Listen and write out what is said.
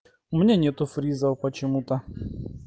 у меня нету фриза почему-то